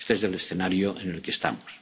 multinacionales. Este es el escenario